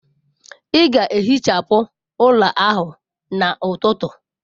Ị ga-ehichapụ ụlọ ahụ n'ụtụtụ!